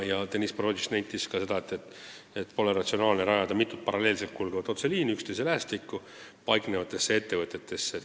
Deniss Boroditš nentis ka, et pole ratsionaalne rajada mitu paralleelselt kulgevat otseliini üksteise lähestikku paiknevatesse ettevõtetesse.